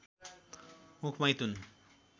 मुख मैथुन